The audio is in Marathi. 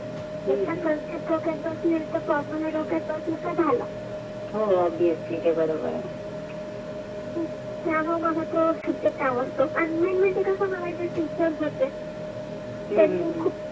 एकदा डोक्यात बसले तर पेर्मानांत डोक्यात बसले कि झाला होते बरोबर आहे त्या मुले पेर्मानांत कशे मन्याचे ते मंग खुप